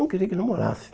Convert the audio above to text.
Não queria que namorasse.